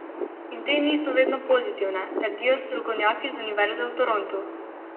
In te niso vedno pozitivne, trdijo strokovnjaki z univerze v Torontu.